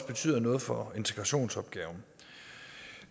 betyder noget for integrationsopgaven